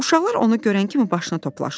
Uşaqlar onu görən kimi başına toplaşdılar.